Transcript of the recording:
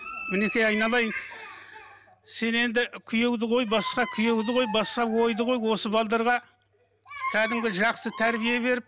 мінекей айналайын сен енді күйеуді қой басқа күйеуді қой басқа ойды қой осы кәдімгі жақсы тәрбие беріп